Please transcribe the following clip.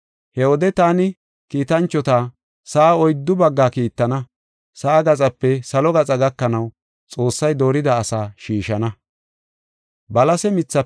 He wode I kiitanchota sa7a oyddu bagga kiittana; sa7a gaxape salo gaxa gakanaw, Xoossay doorida asaa shiishana.